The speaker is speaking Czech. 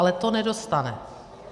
Ale to nedostane.